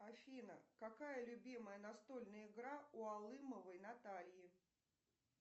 афина какая любимая настольная игра у алымовой натальи